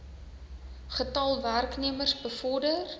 getal werknemers bevorder